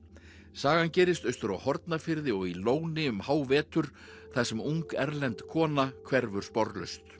sagan gerist austur á Hornafirði og í Lóni um hávetur þar sem ung erlend kona hverfur sporlaust